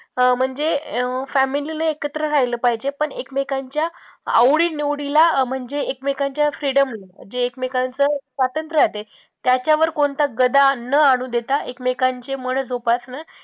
अं family ने एकत्र राहिले पाहिजे, पण ऐकमेकांच्या आवडी निवडीला अं म्हणजे ऐकमेकांच्या freedom जे ऐकमेकांच स्वातंत्र आहे ते, त्याच्यावर कोणता गदा न आणू देता ऐकमेकांचे मनं जोपासणं